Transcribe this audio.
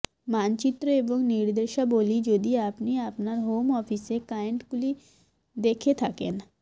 মানচিত্র এবং নির্দেশাবলী যদি আপনি আপনার হোম অফিসে ক্লায়েন্টগুলি দেখে থাকেন